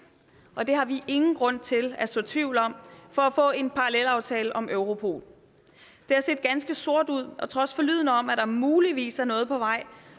og det har vi ingen grund til at så tvivl om for at få en parallelaftale om europol det har set ganske sort ud og trods forlydender om at der muligvis er noget på vej